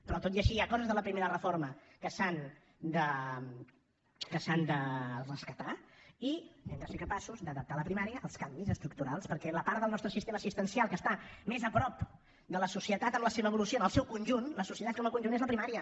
però tot i així hi ha coses de la primera reforma que s’han de rescatar i hem de ser capaços d’adaptar la primària als canvis estructurals perquè la part del nostre sistema assistencial que està més a prop de la societat en la seva evolució en el seu conjunt la societat com a conjunt és la primària